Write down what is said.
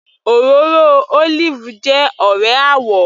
Òróró olive jẹ́ ọ̀rẹ́ àwò